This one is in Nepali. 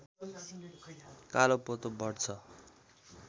कालोपोतो बढ्छ